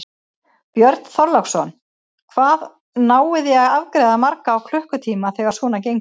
Björn Þorláksson: Hvað náið þið að afgreiða marga á klukkutíma þegar svona gengur?